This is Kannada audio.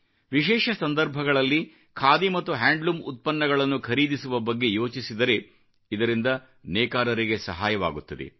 ವಿಶೇಷ ಸಂದರ್ಭಗಳಲ್ಲಿ ಖಾದಿ ಮತ್ತು ಹ್ಯಾಂಡ್ಲೂರಮ್ ಉತ್ಪನ್ನಗಳನ್ನು ಖರೀದಿಸುವ ಬಗ್ಗೆ ಯೋಚಿಸಿದರೆ ಇದರಿಂದ ನೇಕಾರರಿಗೆ ಸಹಾಯವಾಗುತ್ತದೆ